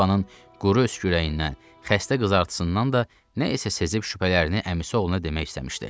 Yevanın quru öskürəyindən, xəstə qızartısından da nə isə sezib şübhələrini əmisi oğluna demək istəmişdi.